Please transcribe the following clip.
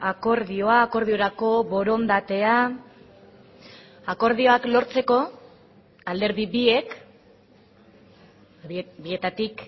akordioa akordiorako borondatea akordioak lortzeko alderdi biek bietatik